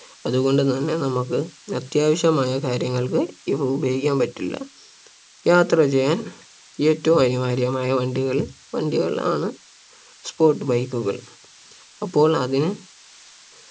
അതുകൊണ്ട് തന്നെ നമുക്ക് അത്യാവശ്യമായ കാര്യങ്ങൾക്ക് ഇവ ഉപയോഗിക്കാൻ പറ്റില്ല യാത്ര ചെയ്യാൻ ഏറ്റവും അനിവാര്യമായ വണ്ടികൾ വണ്ടികളാണ് sport bike കൾ അപ്പോൾ അതിന്